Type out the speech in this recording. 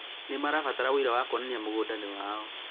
Nĩmarabatara ũira wa kwonania mũgũnda nĩ wao